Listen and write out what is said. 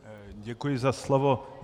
Děkuji za slovo.